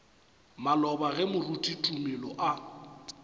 maloba ge moruti tumelo a